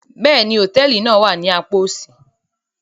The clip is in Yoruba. Bẹ́ẹ̀ni, hotẹẹli náa wa ni àpà osi